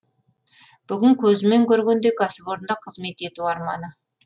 бүгін көзімен көргендей кәсіпорында қызмет ету арманы